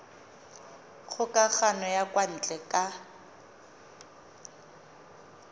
kgokagano ya kwa ntle ka